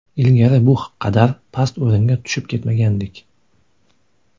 Ilgari bu qadar past o‘ringa tushib ketmagandik.